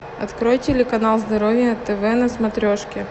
открой телеканал здоровье тв на смотрешке